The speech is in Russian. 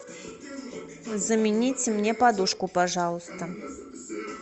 замените мне подушку пожалуйста